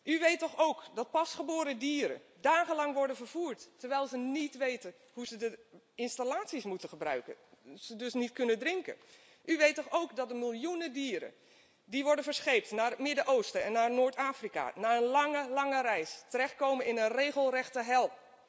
U weet toch ook dat pasgeboren dieren dagenlang worden vervoerd, terwijl ze niet weten hoe ze de installaties moeten gebruiken en ze dus niet kunnen drinken? U weet toch ook dat de miljoenen dieren die worden verscheept naar het Midden Oosten en naar Noord Afrika na een lange, lange reis terechtkomen in een regelrechte hel?